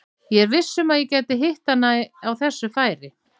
Ég er viss um að ég gæti hitt hann á þessu færi.